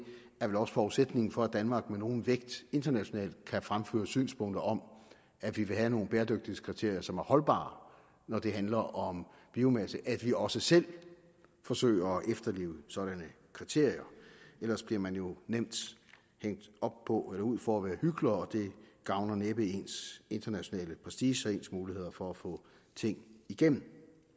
er vel også forudsætningen for at danmark med nogen vægt internationalt kan fremføre synspunkter om at vi vil have nogle bæredygtighedskriterier som er holdbare når det handler om biomasse at vi også selv forsøger at efterleve sådanne kriterier ellers bliver man jo nemt hængt op på eller ud for at være hykler og det gavner næppe ens internationale prestige og ens muligheder for at få ting igennem